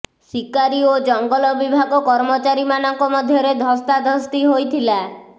ଶିକାରୀ ଓ ଜଙ୍ଗଲ ବିଭାଗ କର୍ମଚାରୀମାନଙ୍କ ମଧ୍ୟରେ ଧସ୍ତାଧସ୍ତି ହୋଇଥିଲା